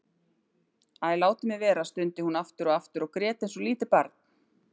Æ, látið mig vera stundi hún aftur og aftur og grét eins og lítið barn.